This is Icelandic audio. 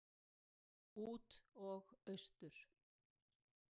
Út og austur.